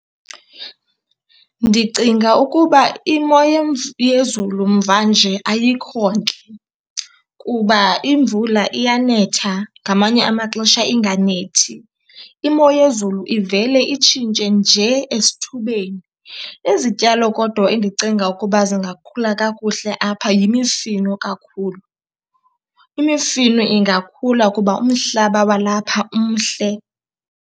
Ndicinga ukuba imo yezulu mvanje ayikho ntle kuba imvula iyanetha, ngamanye amaxesha inganethi. Imo yezulu ivele itshintshe nje esithubeni. Izityalo kodwa endicinga ukuba zingakhula kakuhle apha yimifino kakhulu. Imifino ingakhula kuba umhlaba walapha umhle.